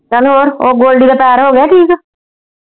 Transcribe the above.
ਚੱਲ ਹੋਰ ਉਹ ਗੋਲਡੀ ਦਾ ਪੈਰ ਹੋਗਿਆ ਠੀਕ?